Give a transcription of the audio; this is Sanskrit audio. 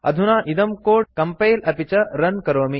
अधुना इदं कोड इत्येतत् कम्पैल अपि च रन करोमि